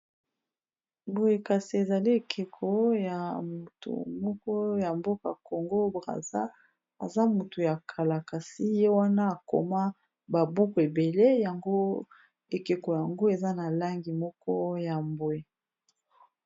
Boye kasi, ezali ekeko moko ya mboka Congo Braza. Aza motu ya kala. Kasi ye wana akoma babuku ebele yango. Ekeko yango eza na langi moko ya mbwe.